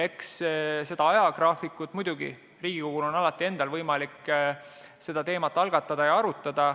Eks seda ajagraafikut on Riigikogul endal muidugi alati võimalik algatada ja arutada.